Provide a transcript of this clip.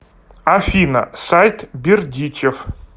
афина сайт бердичев